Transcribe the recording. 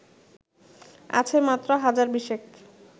আছে মাত্র হাজার বিশেক